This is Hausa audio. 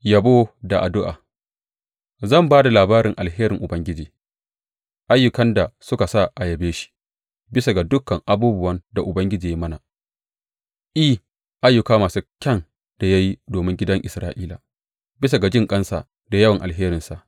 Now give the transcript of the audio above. Yabo da addu’a Zan ba da labarin alherin Ubangiji, ayyukan da suka sa a yabe shi, bisa ga dukan abubuwan da Ubangiji ya yi mana, I, ayyuka masu kyan da ya yi domin gidan Isra’ila, bisa ga jinƙansa da yawan alheransa.